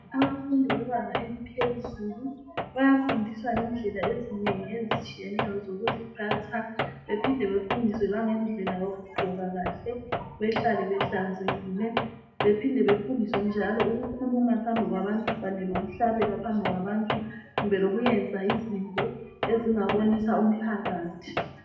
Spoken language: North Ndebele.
Amafundi bebanga eliphezulu bayafundiswa ngendlela ezinengi ezitshiyeneyo zokuziphatha bephinde befundiswe langendlela yokugqoka kahle behlale behlanzekile bephinde bafundiswe njalo ukukhuluma phambi kwabantu kanye lokuhlabela phambi kwabantu kumbe lokwenza izinto ezingabonisa umphakathi.